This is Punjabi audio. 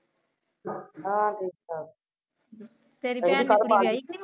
ਤੇਰੀ ਭੈਣ ਦੀ ਕੁੜੀ ਵਿਆਹੀਗੀ?